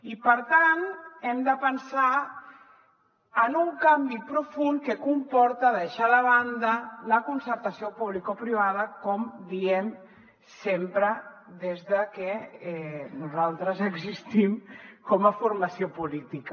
i per tant hem de pensar en un canvi profund que comporta deixar de banda la concertació publicoprivada com diem sempre des de que nosaltres existim com a formació política